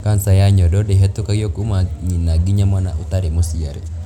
kanca ya nyondo ndihĩtũkagio kuuma nyina nginya mwana ũtarĩ mũciare.